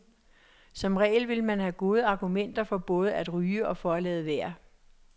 Som regel vil man have gode argumenter for både at ryge og for at lade være.